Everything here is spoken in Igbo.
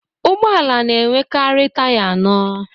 Ụgbọala na enwekari taya anọ.